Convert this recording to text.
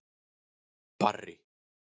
Barri